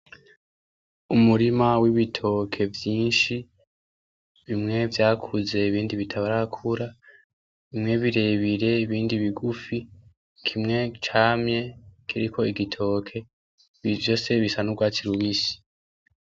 Umurima w'ibitoke vyinshi bimwe vyakuze ibindi bitarakura bimwe birebire ibindi bigufi, kimwe camye kiriko igitoke ibi vyose bisa n'urwatsi rubisi.